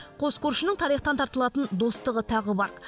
қос көршінің тарихтан тартылатын достығы тағы бар